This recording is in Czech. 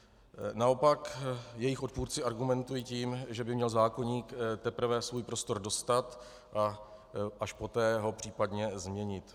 Naopak jejich odpůrci argumentují tím, že by měl zákoník teprve svůj prostor dostat a až poté ho případně změnit.